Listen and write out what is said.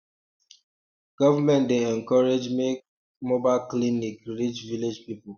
government dey encourage make um mobile clinics reach village people